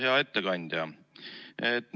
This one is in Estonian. Hea ettekandja!